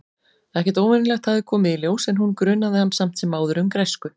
Ekkert óvenjulegt hafði komið í ljós- en hún grunaði hann samt sem áður um græsku.